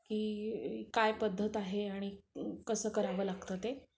की काय पद्धत आहे आणि कसं करावं लागतं ते.